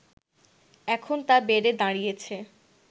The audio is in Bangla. এখন তা বেড়ে দাঁড়িয়েছে